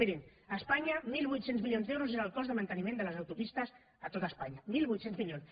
mirin a espanya mil vuit cents milions d’euros és el cost de manteniment de les autopistes a tot espanya mil vuit cents milions